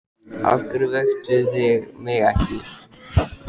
Af hverju vöktuð þið mig ekki?